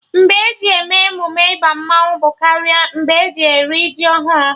Mgbe e ji eme emume ịba mmanwụ bụ karị mgbe eji eri ji ọhụrụ